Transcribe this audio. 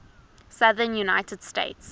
southern united states